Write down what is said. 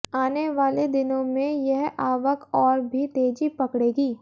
आने वाले दिनों में यह आवक और भी तेजी पकड़ेगी